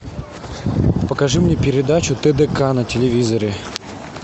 покажи мне передачу тдк на телевизоре